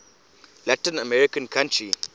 latin american country